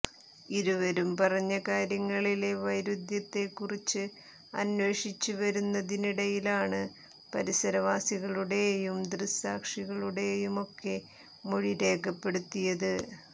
ഇരുവരും പറഞ്ഞ കാര്യങ്ങളിലെ വൈരുദ്ധ്യത്തെക്കുറിച്ച് അന്വേഷിച്ച് വരുന്നതിനിടയിലാണ് പരിസരവാസികളുടേയും ദൃക്സാക്ഷികളുടെയുമൊക്കെ മൊഴി രേഖപ്പെടുത്തിയത്